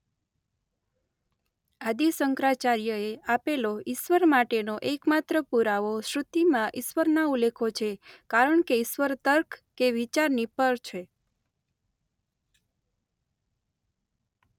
આદિ શંકરાચાર્યએ આપેલો ઇશ્વર માટેનો એકમાત્ર પૂરાવો શ્રૃતિમાં ઇશ્વરના ઉલ્લેખો છે કારણ કે ઇશ્વર તર્ક કે વિચારની પર છે.